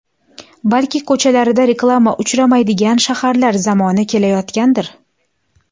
Balki ko‘chalarida reklama uchramaydigan shaharlar zamoni kelayotgandir?